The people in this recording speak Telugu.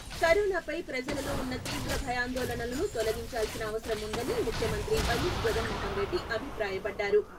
కరోనాపై ప్రజలలో ఉన్న తీవ్ర భయాందోళనలను తొలగించాల్సిన అవసరం ఉందని ముఖ్యమంత్రి వైఎస్ జగన్మోహన్ రెడ్డి అభిప్రాయపడ్డారు.